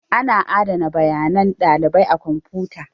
Ana adana bayanan ɗalibai a kwamfuta.